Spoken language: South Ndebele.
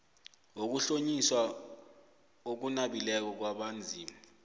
wokuhlonyiswa okunabileko kwabanzima